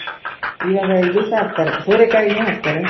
ಇವಾಗ ಇದು ಸಹ ಹಾಕ್ತಾರೆ ಸೋರೆ ಕಾಯಿನು ಹಾಕ್ತಾರೆ.